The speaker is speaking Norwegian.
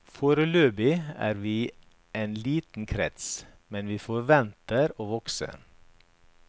Foreløpig er vi en liten krets, men vi forventer å vokse.